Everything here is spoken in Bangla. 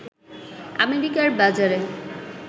আমেরিকার বাজারে